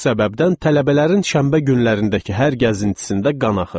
Bu səbəbdən tələbələrin şənbə günlərindəki hər gəzintisində qan axırdı.